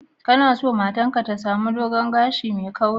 Kuna sa matar ka ta sami dogon gashi mai kauri?